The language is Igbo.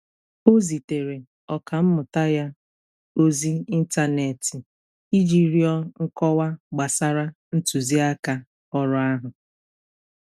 Ọ zitere Ọkammụta ya ozi ịntanetị iji rịọ nkọwa gbasara ntuziaka ọrụ ahụ.